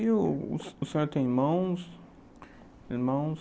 E o senhor tem irmãos? Irmãos...